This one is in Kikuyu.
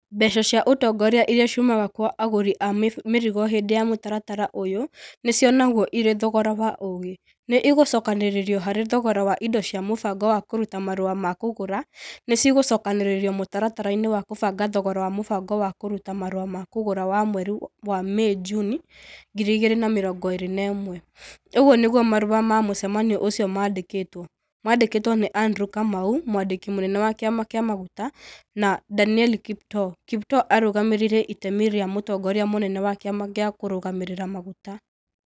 "Mbeca cia ũtongoria iria ciumaga kwa agũri a mĩrigo hĩndĩ ya mũtaratara ũyũ nĩ cionagwo irĩ thogora wa ũgĩ. Nĩ igũcokanĩrĩrio harĩ thogora wa indo cia mũbango wa kũruta marũa ma kũgũra. ni cigũcokanĩrĩrio mũtaratara-inĩ wa kũbanga thogora wa mũbango wa kũruta marũa ma kũgũra wa mweri wa Mĩĩ-Junĩ 2021". ũguo nĩguo marũa ma mũcemanio ũcio mandĩkĩtwo . Mandĩkĩtwo nĩ Andrew Kamau mwandĩki mũnene wa kĩama kĩa maguta , na Danieli Kiptoo. Kiptoo arũgamĩrĩire itemi rĩa mũtongoria mũnene wa kĩama gĩa kũrũgamĩrĩra maguta.